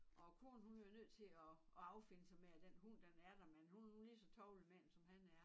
Og konen hun blev jo nødt til at at affinde sig med at den hund den er der men hun er nu lige så tovlig med den som han er